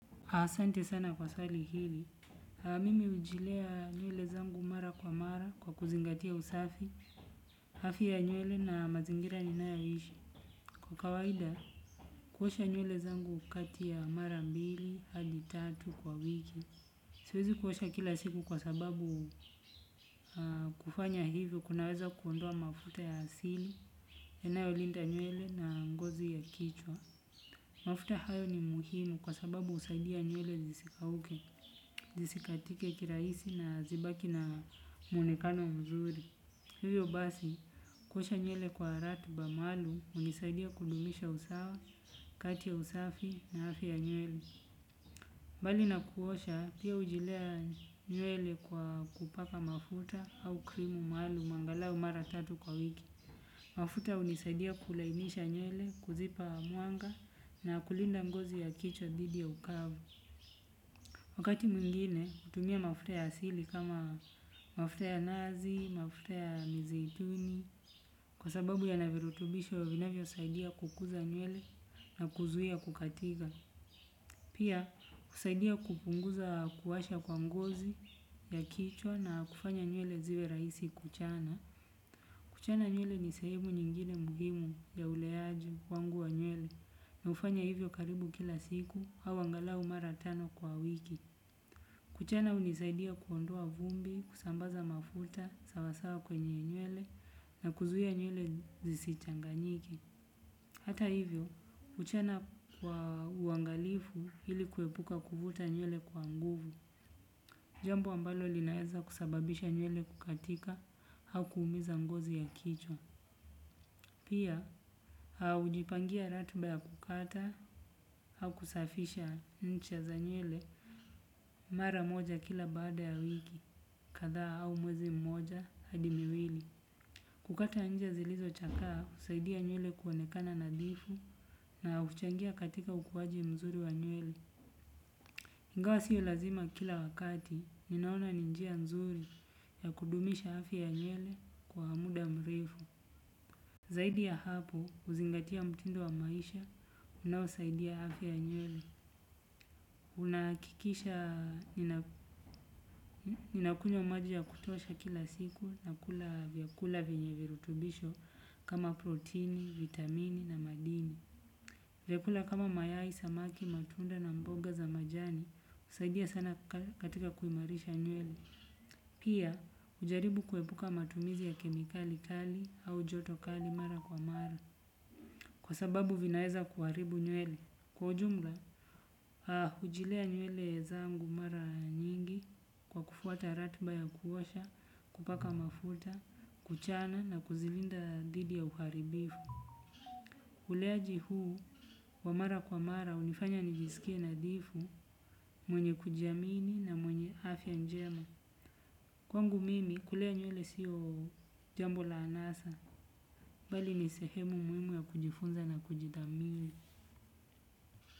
Asante sana kwa swali hili. Mimi ujilea nywele zangu mara kwa mara kwa kuzingatia usafi, hafya ya nywele na mazingira ninayoishi. Kwa kawaida, kuosha nywele zangu kati ya mara mbili, hadi tatu kwa wiki. Siwezi kuosha kila siku kwa sababu kufanya hivyo, kunaweza kuondoa mafuta ya asili, yanayolinda nywele na ngozi ya kichwa. Mafuta hayo ni muhimu kwa sababu usaidia nywele zisikauke, zisikatike kiraisi na zibaki na mwonekano mzuri. Hivyo basi, kuosha nywele kwa ratiba maalum, unisaidia kudumisha usawa, kati ya usafi na afya ya nywele. Bali na kuosha, pia ujilea nywele kwa kupaka mafuta au krimu maalum, angalau mara tatu kwa wiki. Mafuta unisaidia kulainisha nywele, kuzipa mwanga na kulinda ngozi ya kichwa dhidi ya ukavu. Wakati mwingine, utumia mafuta ya asili kama mafuta ya nazi, mafuta ya mizituni. Kwa sababu yana virutubisho, vinavyosaidia kukuza nywele na kuzuia kukatika. Pia husaidia kupunguza kuwasha kwa ngozi, ya kichwa na kufanya nywele ziwe rahisi kuchana. Kuchana nywele ni sehemu nyingine muhimu ya uleaji wangu wa nywele na hufanya hivyo karibu kila siku au angalau mara tano kwa wiki. Kuchana unisaidia kuondoa vumbi, kusambaza mafuta, sawasawa kwenye nywele na kuzuia nywele zisichanganyike. Hata hivyo, kuchana kwa uangalifu hili kuepuka kuvuta nywele kwa nguvu. Jambo ambalo linaeza kusababisha nywele kukatika hau kuumiza ngozi ya kichwa. Pia, ujipangia ratiba ya kukata au kusafisha ncha za nywele mara moja kila baada ya wiki kadhaa au mwezi mmoja hadi miwili. Kukata nja zilizochakaa, usaidia nywele kuonekana nadhifu na uchangia katika ukuwaji mzuri wa nywele. Ingawa siyo lazima kila wakati, ninaona ni njia nzuri ya kudumisha afya ya nywele kwa muda mrefu. Zaidi ya hapo, uzingatia mtindo wa maisha, unaosaidia afya ya nywele. Unaakikisha ninakunywa maji ya kutosha kila siku nakula vyakula vyenye virutubisho kama protini, vitamini na madini. Vyakula kama mayai samaki matunda na mboga za majani, husaidia sana katika kuimarisha nywele. Pia, ujaribu kuepuka matumizi ya kemikali kali au joto kali mara kwa mara. Kwa sababu vinaeza kuharibu nywele. Kwa ujumla, hujilea nywele zangu mara nyingi kwa kufuata ratiba ya kuosha, kupaka mafuta, kuchana na kuzilinda dhidi ya uharibifu. Uleaji huu, wa mara kwa mara, unifanya nijiskie nadhifu, mwenye kujiamini na mwenye afya njema. Kwangu mimi, kulea nywele siyo jambo la anasa, bali ni sehemu muimu ya kujifunza na kujidhamini.